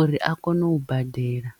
uri a kone u badela.